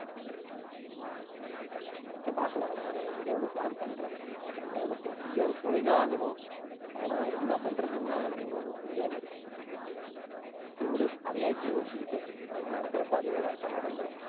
சரி பாக்கலாம் நானு ஏதோ ஒண்ணு plan பண்றேன். ஏதோ ஒண்ணு போய் எங்கேயோண்ணு போய்தான் ஆகணும். ஆனா, என்ன பண்றதுன்னுதான் எனக்கு இன்னும் ஒண்ணும் புரியாம இருக்கு. சரி விடு அதை ஏன் இப்ப யோசிச்சுக்கிட்டு அது நடக்கறப்ப அதுவே correct ஆ நடந்திரும்